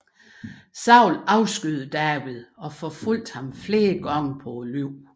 Saul afskyede David og forfulgte ham flere gange på livet